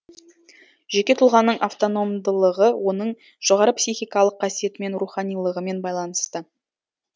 жеке тұлғаның автономдылығы оның жоғары психикалық қасиетімен руханилығымен байланысты